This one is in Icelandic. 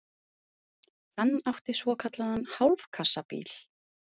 Hann átti svokallaðan hálfkassabíl.